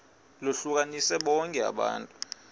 lohlukanise bonke abantu